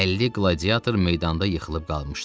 50 qladiator meydanda yıxılıb qalmışdı.